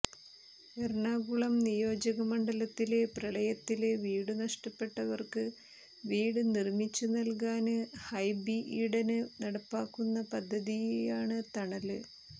എറണാകുളം നിയോജകമണ്ഡലത്തില് പ്രളയത്തില് വീടുനഷ്ടപ്പെട്ടവര്ക്ക് വീട് നിര്മിച്ചുനല്കാന് ഹൈബി ഈഡന് നടപ്പാക്കുന്ന പദ്ധതിയാണ് തണല്